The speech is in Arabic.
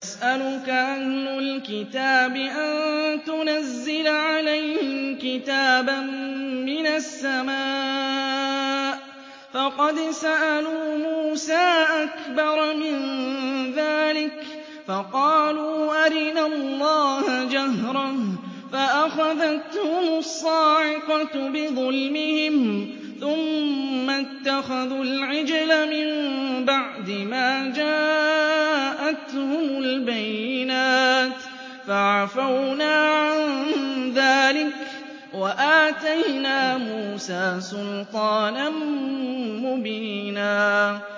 يَسْأَلُكَ أَهْلُ الْكِتَابِ أَن تُنَزِّلَ عَلَيْهِمْ كِتَابًا مِّنَ السَّمَاءِ ۚ فَقَدْ سَأَلُوا مُوسَىٰ أَكْبَرَ مِن ذَٰلِكَ فَقَالُوا أَرِنَا اللَّهَ جَهْرَةً فَأَخَذَتْهُمُ الصَّاعِقَةُ بِظُلْمِهِمْ ۚ ثُمَّ اتَّخَذُوا الْعِجْلَ مِن بَعْدِ مَا جَاءَتْهُمُ الْبَيِّنَاتُ فَعَفَوْنَا عَن ذَٰلِكَ ۚ وَآتَيْنَا مُوسَىٰ سُلْطَانًا مُّبِينًا